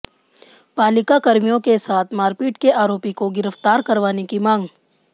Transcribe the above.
पालिकाकर्मियो के साथ मारपीट के आरोपी को गिरफ्तार करवाने की मांग